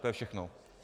To je všechno.